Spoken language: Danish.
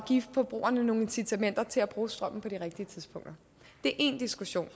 give forbrugerne nogle incitamenter til at bruge strømmen på de rigtige tidspunkter det er én diskussion